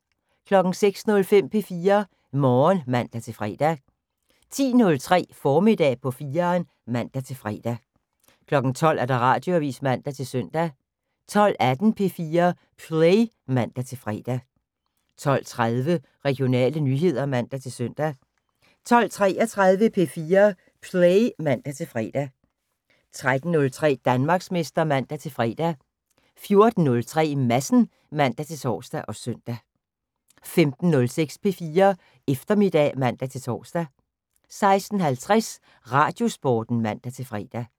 06:05: P4 Morgen (man-fre) 10:03: Formiddag på 4'eren (man-fre) 12:00: Radioavis (man-søn) 12:18: P4 Play (man-fre) 12:30: Regionale nyheder (man-søn) 12:33: P4 Play (man-fre) 13:03: Danmarksmester (man-fre) 14:03: Madsen (man-tor og søn) 15:06: P4 Eftermiddag (man-tor) 16:50: Radiosporten (man-fre)